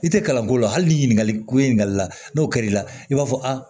I tɛ kalanko la hali ni ɲininkali ko in ɲininkali la n'o kɛr'i la i b'a fɔ